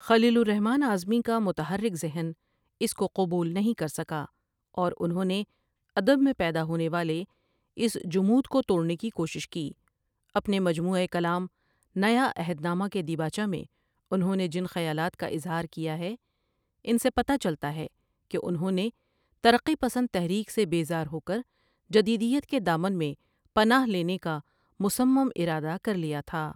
خلیل الرحمن اعظمی کا متحرک ذہن اس کو قبول نہیں کر سکا اور انہوں نے ادب میں پیدا ہونے والے اس جمود کو توڑنے کی کوشش کی اپنے مجموعۂ کلام نیا عہد نامہ کے دیباچہ میں انہوں نے جن خیالات کا اظہار کیا ہے ان سے پتہ چلتا ہے کہ انہوں نے ترقی پسند تحریک سے بیزار ہوکر جدیدیت کے دامن میں پناہ لینے کا مصم ارادہ کر لیا تھا۔